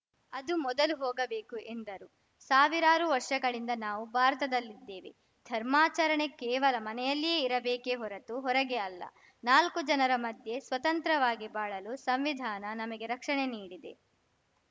ಅದು ಮೊದಲು ಹೋಗಬೇಕು ಎಂದರು ಸಾವಿರಾರು ವರ್ಷಗಳಿಂದ ನಾವು ಭಾರತದಲ್ಲಿದ್ದೇವೆ ಧರ್ಮಾಚರಣೆ ಕೇವಲ ಮನೆಯಲ್ಲಿಯೇ ಇರಬೇಕೇ ಹೊರತು ಹೊರಗೆ ಅಲ್ಲ ನಾಲ್ಕು ಜನರ ಮಧ್ಯೆ ಸ್ವತಂತ್ರವಾಗಿ ಬಾಳಲು ಸಂವಿಧಾನ ನಮಗೆ ರಕ್ಷಣೆ ನೀಡಿದೆ